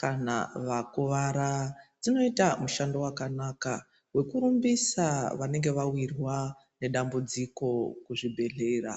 kana vakuvara dzinoita mushando wakanaka, wekurumbisa vanenge vawirwa nedambudziko kuzvibhedhlera.